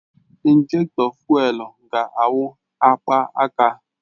Injektọ fụ́élú ga-awụ akpaka